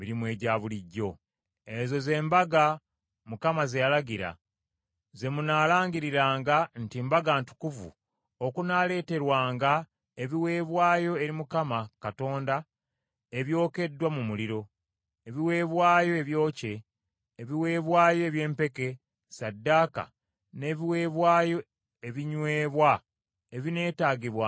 “Ezo ze mbaga Mukama ze yalagira, ze munaalangiriranga nti mbaga ntukuvu okunaaleeterwanga ebiweebwayo eri Mukama Katonda ebyokeddwa mu muliro, ebiweebwayo ebyokye, ebiweebwayo eby’empeke, ssaddaaka n’ebiweebwayo ebinywebwa ebineetaagibwanga buli lunaku.